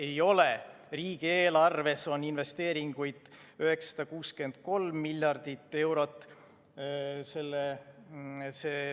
Ei ole, riigieelarves on investeeringuid 963 miljonit eurot.